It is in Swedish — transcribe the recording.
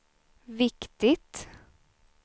viktigt